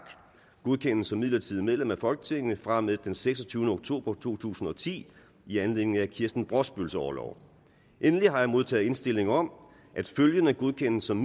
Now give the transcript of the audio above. godkendes som midlertidigt medlem af folketinget fra og med den seksogtyvende oktober to tusind og ti i anledning af kirsten brosbøls orlov endelig har jeg modtaget indstilling om at følgende godkendes som